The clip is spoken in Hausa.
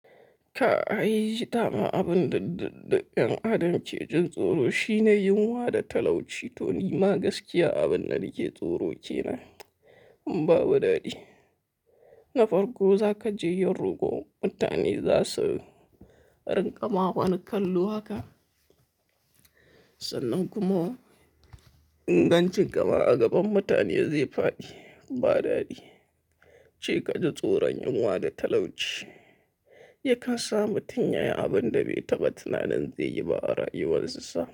Ka a yi zita ma abin daɗe-daɗe, ƴan adam ke jin tsoro shine yunwa da talauci, to ni ma gaskiya abin na nike tsoro ke na. Amma ba daɗi. Na farko za ka je yin roko, mutane za su rinƙa ma ba ni kallo haka. Sannan kuma inganci kama a gaban mutane zai faɗi ba daɗi. Ce ka ji tsoron yunwa da talauci. Yi kasama tun yaya abin da bai taba tunanin zai yi ba a rayuwarsa.